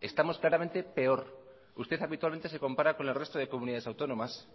estamos claramente peor usted habitualmente se compara con el resto de comunidades autónomas